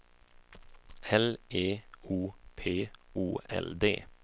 L E O P O L D